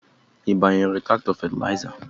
Ị gbanyere traktọ fetiza?